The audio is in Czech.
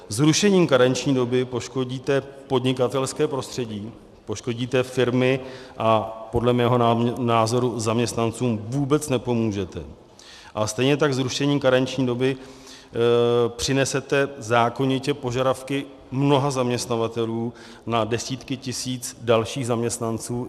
Zrušením karenční doby poškodíte podnikatelské prostředí, poškodíte firmy a podle mého názoru zaměstnancům vůbec nepomůžete a stejně tak zrušením karenční doby přinesete zákonitě požadavky mnoha zaměstnavatelů na desítky tisíc dalších zaměstnanců.